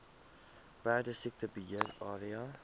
perdesiekte beheer area